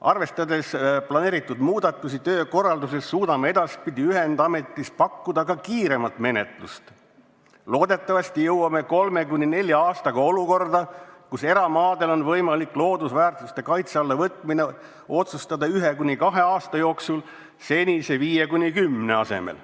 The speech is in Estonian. "Arvestades planeeritud muudatusi töökorralduses, suudame edaspidi ühendametis pakkuda ka kiiremat menetlust, loodetavasti jõuame 3–4 aastaga olukorda, kus eramaadel on võimalik loodusväärtuste kaitse alla võtmine otsustada 1–2 aasta jooksul senise 5–10 asemel.